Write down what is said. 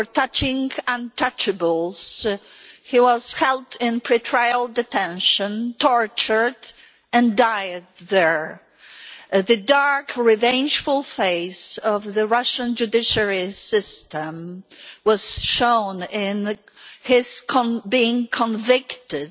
For touching untouchables he was held in pre trial detention, tortured, and died there. The dark revengeful face of the Russian judiciary system was shown in his being convicted